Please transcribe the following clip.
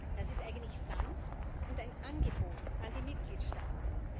Das ist eigentlich sanft und ein Angebot an die Mitgliedstaaten.